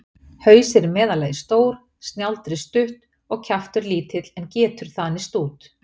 Haus er í meðallagi stór, snjáldrið stutt og kjaftur lítill, en getur þanist út.